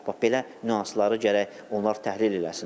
Bax belə nüansları gərək onlar təhlil eləsinlər.